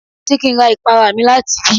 Ṣé kí n ra ìpara mi láti ibí?